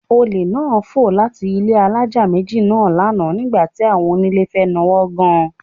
Olè náà fò láti ilé alájà méjì náà lánàá nígbà tí àwọn onílé fẹ́ nawọ́ gan